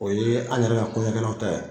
O ye an yɛrɛ ka kɔɲɔ kɛlaw ta ye.